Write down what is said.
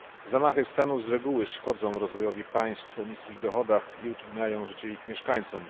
Zamachy stanu z reguły szkodzą rozwojowi państw o niskich dochodach i utrudniają życie ich mieszkańcom.